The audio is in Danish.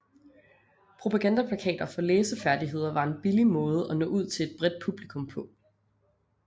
Propagandaplakater for læsefærdigheder var en billig måde at nå ud til et bredt publikum på